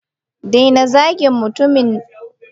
daina zagin mutumin!